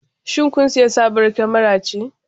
Shin kun sayi sabuwar kyamara ce?